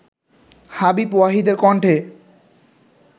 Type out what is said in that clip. হাবিব ওয়াহিদের কণ্ঠে